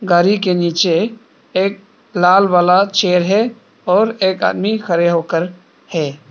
गाड़ी के नीचे एक लाल वाला चेयर है और एक आदमी खड़े होकर है।